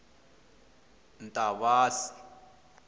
ntavasi